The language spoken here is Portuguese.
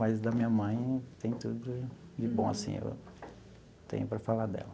Mas da minha mãe tem tudo de bom, assim, eu tenho para falar dela.